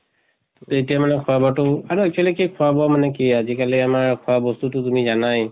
এতিয়া মানে খোৱা বোৱা টো আৰু actually কি খোৱা বোৱা মানে কি আজি কালি আমাৰ খোৱা বস্তুটো তুমি জানাই